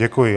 Děkuji.